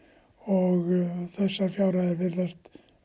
og þessar fjárhæðir virðast